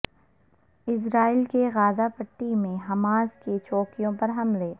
اسرائیل کے غزہ پٹی میں حماس کی چوکیوں پر حملے